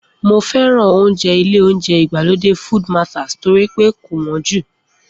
Mo fẹ́ràn oúnjẹ ilé oúnjẹ ìgbàlódé Food Mataz torí pé kò wọ́n jù